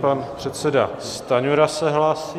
Pan předseda Stanjura se hlásí.